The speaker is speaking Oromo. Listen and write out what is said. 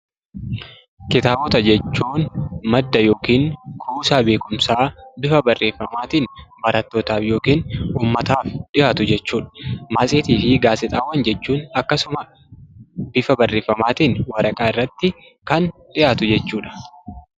Kitaabota jechuun madda yookiin kuusaa beekumsaa bifa barreeffamaatiin barattootaaf yookiin ummataaf dhiyaatu jechuu dha. Matseetii fi gaazexaawwan jechuun akkasuma bifa barreeffamaatiin waraqaa irratti kan dhiyaatu jechuu dha.